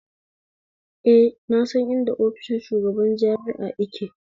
Eh na san inda ofishin shugaban jami'a yake